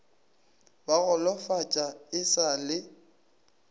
ba golofatša e sa le